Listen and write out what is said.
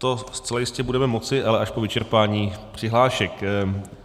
To zcela jistě budeme moci, ale až po vyčerpání přihlášek.